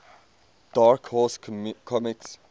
dark horse comics